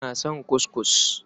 Ina son kuskus.